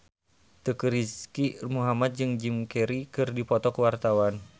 Teuku Rizky Muhammad jeung Jim Carey keur dipoto ku wartawan